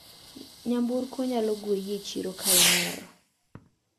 Nyamburko nyalo gweyi e chiro kaimer.